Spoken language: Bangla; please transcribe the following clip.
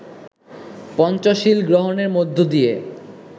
পঞ্চশীল গ্রহণের মধ্য দিয়ে